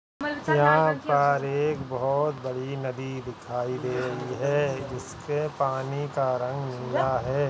यहाँ पर एक बहोत बड़ी नदी दिखाई दे रही है जिसके पानी का रंग नीला है।